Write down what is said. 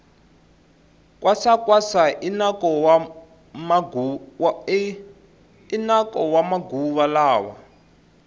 kwasa kwasa i nako wa maguva lawa